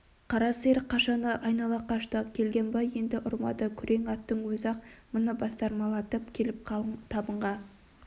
қара сиыр қашаны айнала қашты келгенбай енді ұрмады күрең аттың өзі-ақ мұны бастырмалатып келіп қалың табынға